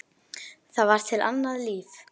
Það var til annað líf.